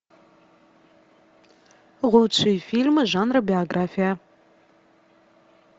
лучшие фильмы жанра биография